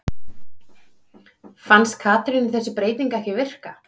Fannst Katrínu þessi breyting ekki virka?